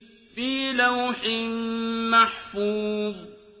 فِي لَوْحٍ مَّحْفُوظٍ